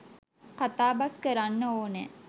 කතා බස්‌ කරන්න ඕනෑ.